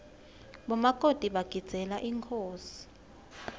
bomakoti bagidzeela inkhosi